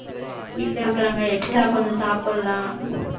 வீட்டில இருக்கிறாங்க extra கொஞ்சம் சாப்பிடலாம்